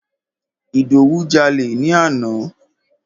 Ìdòwú jalè ni àná.